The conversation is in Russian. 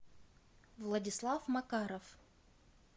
владислав макаров